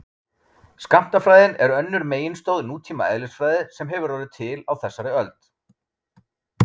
skammtafræðin er önnur meginstoð nútíma eðlisfræði sem hefur orðið til á þessari öld